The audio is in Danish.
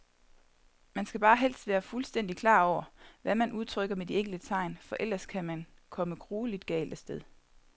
Man skal bare helst være fuldstændigt klar over, hvad man udtrykker med de enkelte tegn, for ellers kan man komme grueligt galt af sted.